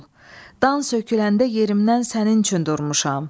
Dan söküləndə yerimdən sənin üçün durmuşam.